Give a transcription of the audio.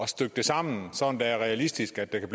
stykke det sammen sådan at det er realistisk at der kan